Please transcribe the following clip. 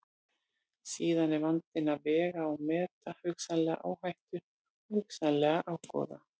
Síðan er vandinn að vega og meta hugsanlega áhættu og hugsanlegan ágóða.